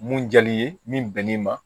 Mun diyar'i ye min bɛn'i ma